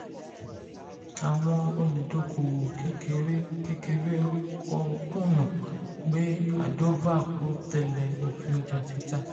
àwọn olùdókòwò kékeré kékeré ń kùnà pé ardova kò tẹ̀lé òfin ọjà títà.